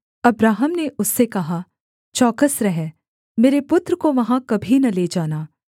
Abraham ने उससे कहा चौकस रह मेरे पुत्र को वहाँ कभी न ले जाना